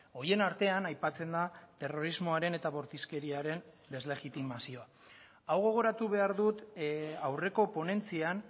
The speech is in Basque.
horien artean aipatzen da terrorismoaren eta bortizkeriaren deslegitimazioa hau gogoratu behar dut aurreko ponentzian